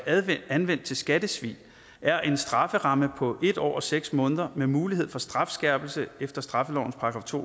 anvendt til skattesvig er en strafferamme på en år og seks måneder med mulighed for strafskærpelse efter straffelovens § to